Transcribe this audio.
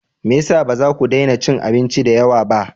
Me ya sa ba za ku daina cin abinci da yawa ba?